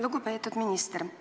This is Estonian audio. Lugupeetud minister!